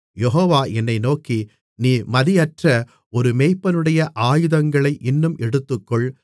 யெகோவா என்னை நோக்கி நீ மதியற்ற ஒரு மேய்ப்பனுடைய ஆயுதங்களை இன்னும் எடுத்துக்கொள்